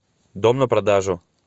дом на продажу